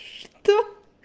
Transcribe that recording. что